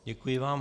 Děkuji vám.